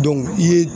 i ye